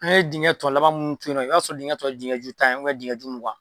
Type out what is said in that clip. An ye dingɛ tɔ laban minnu to yen nɔ ,i b'a sɔrɔ dingɛ tɔ ye dingɛ ju tan dingɛju mugan